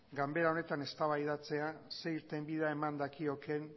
ganbara honetan eztabaidatzea zer irtenbide eman dakioken